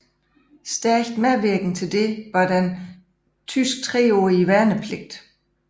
Stærkt medvirkende til dette var den tyske treårige værnepligt